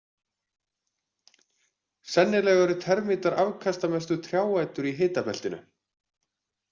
Sennilega eru termítar afkastamestu trjáætur í hitabeltinu.